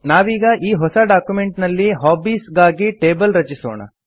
ನಾವೀಗ ಈ ಹೊಸ ಡಾಕ್ಯುಮೆಂಟ್ ನಲ್ಲಿ ಹಾಬೀಸ್ ಗಾಗಿ ಟೇಬಲ್ ರಚಿಸೋಣ